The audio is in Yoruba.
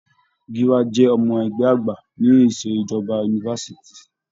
Gíwá jẹ́ ọmọ-ẹgbẹ́ àgbà ní ìṣẹ̀jọba yunifásitì.